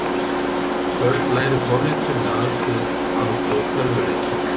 Börn læri forritun með aðstoð tölvuleikja